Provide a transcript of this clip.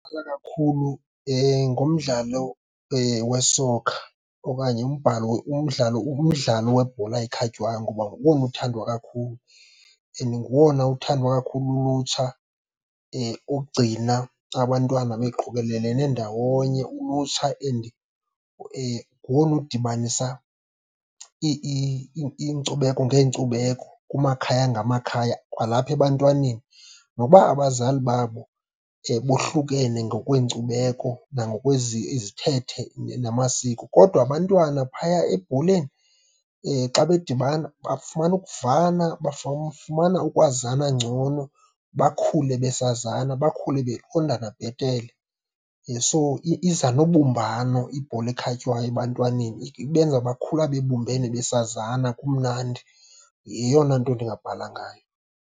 Kakhulu ngumdlalo we-soccer okanye umdlalo, umdlalo webhola ekhatywayo. Ngoba nguwona uthandwa kakhulu and nguwona uthandwa kakhulu lulutsha, ogcina abantwana beqokelelene ndawonye, ulutsha. And ngowona udibanisa iinkcubeko ngeenkcubeko, kumakhaya ngamakhaya kwalapha ebantwaneni. Nokuba abazali babo bohlukene ngokweenkcubeko, izithethe namasiko, kodwa abantwana phaya ebholeni xa bedibana bafumana ukuvana, bafumana ukwazana ngcono, bakhule besazana, bakhule beqondana bhetele. So, iza nobumbano ibhola ekhatywayo ebantwaneni, ibenza bakhula bebumbene besazana kumnandi. Yeyona nto ndingabhala ngayo.